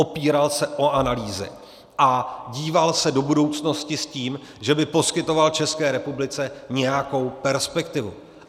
Opíral se o analýzy a díval se do budoucnosti s tím, že by poskytoval České republice nějakou perspektivu.